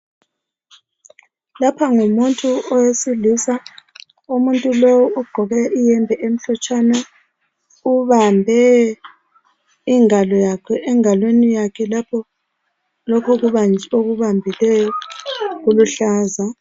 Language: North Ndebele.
Lapha ngumuntu owesilisa umuntu lowu ugqoke iyembe emhlotshana ubambe ingalo yakhe engalweni yakhe lokho okubambileyo kuluhlaza.